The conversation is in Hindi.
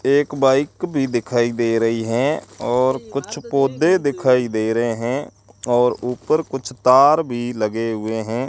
एक बाइक भी दिखाई दे रही हैं और कुछ पौधे दिखाई दे रहे हैं और ऊपर कुछ तार भी लगे हुए हैं।